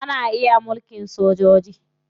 Ana iya mulkin sojoji.